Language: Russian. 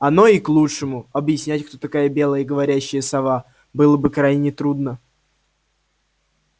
оно и к лучшему объяснять кто такая белая говорящая сова было бы крайне трудно